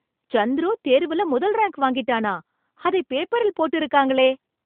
சந்துரு தேர்வுல முதல் ரேங்க் வாங்கிட்டானா! அதை பேப்பரில் போட்டு இருக்காங்களே.